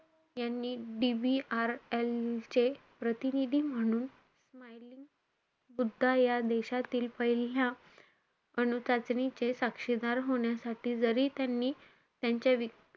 यांनी DVRL चे प्रतिनिधी म्हणून सुद्धा या देशातील पहिल्या अनु चाचणीचे साक्षीदार होण्यासाठी जरी त्यांनी त्यांच्या,